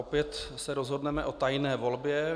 Opět se rozhodneme o tajné volbě.